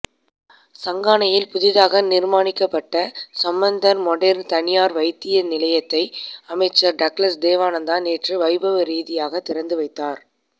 சங்கானையில் புதிதாக நிர்மாணிக்கப்பட்ட சம்பந்தர் மொடேர்ன் தனியார் வைத்திய நிலையத்தை அமைச்சர் டக்ளஸ் தேவானந்தா நேற்று வைபவரீதியாக திறந்து வைத்தார்